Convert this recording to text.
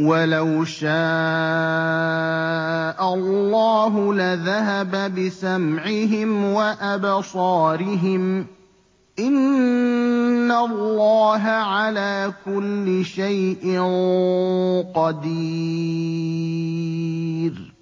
وَلَوْ شَاءَ اللَّهُ لَذَهَبَ بِسَمْعِهِمْ وَأَبْصَارِهِمْ ۚ إِنَّ اللَّهَ عَلَىٰ كُلِّ شَيْءٍ قَدِيرٌ